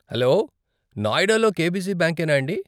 Hello, నోయిడాలో KBC bank యేనా అండి?